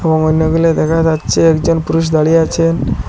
দেখা যাচ্ছে একজন পুরুষ দাঁড়িয়ে আছেন।